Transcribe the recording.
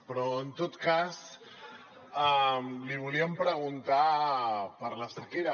però en tot cas li volíem preguntar per la sequera